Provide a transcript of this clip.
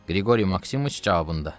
Qriqoriy Maksimoviç cavabında: